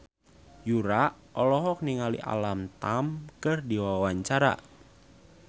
Yura olohok ningali Alam Tam keur diwawancara